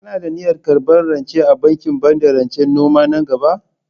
Kana da niyyar karɓar rance a bankin bada rancen noma nan gaba?